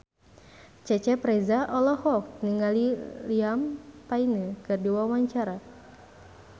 Cecep Reza olohok ningali Liam Payne keur diwawancara